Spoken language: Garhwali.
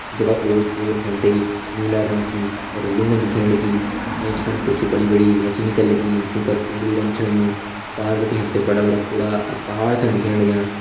जैका ओर पोर हम ते नीला रंग की रेलिंगन दिखेण लगीं एंच फणी कुछ बड़ी बड़ी मशीन कर लगीं जूं पर पिंग्लू रंग छ होयुं पार बिटि हम ते बड़ा बड़ा कुड़ा अर पहाड़ छन दिखेण लग्यां।